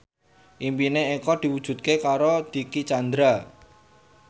impine Eko diwujudke karo Dicky Chandra